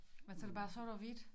Men så det bare sort og hvidt